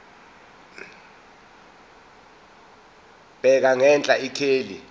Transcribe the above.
bheka ngenhla ikheli